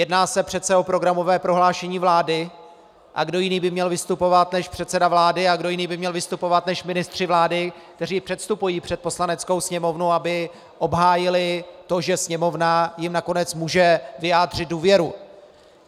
Jedná se přece o programové prohlášení vlády - a kdo jiný by měl vystupovat než předseda vlády a kdo jiný by měl vystupovat než ministři vlády, kteří předstupují před Poslaneckou sněmovnu, aby obhájili to, že Sněmovna jim nakonec může vyjádřit důvěru?